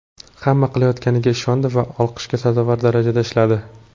Hamma qilayotganiga ishondi va olqishga sazovor darajada ishladi.